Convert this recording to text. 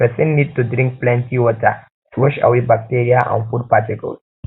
person need to drink plenty water to wash away bacteria and food particles and food particles